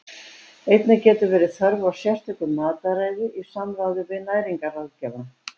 Einnig getur verið þörf á sérstöku mataræði í samráði við næringarráðgjafa.